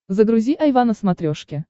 загрузи айва на смотрешке